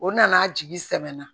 O nana jigi sɛnɛna